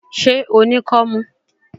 Ṣé o ní kọ́mú?